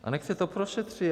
A nechť se to prošetří.